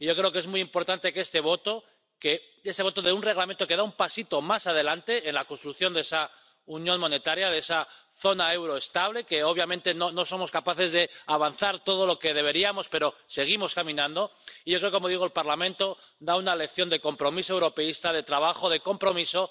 Y yo creo que es muy importante que esa votación de un Reglamento que da un pasito más adelante en la construcción de esa unión monetaria, de esa zona del euro estable —que, obviamente, no somos capaces de avanzar todo lo que deberíamos, pero seguimos caminando— creo, como digo, que el Parlamento da una lección de compromiso europeísta de trabajo, de compromiso.